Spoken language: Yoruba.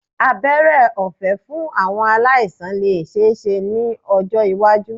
Abẹ́rẹ́ ọ̀fé fún àwọn aláìsàn lè ṣeéṣe ní ọjọ́ iwájú